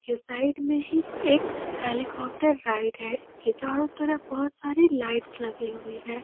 Side में ही एक हेलीकॉप्टर राइड है इसके चारों तरफ बहुत सारी लाइट्स लगी हुई है।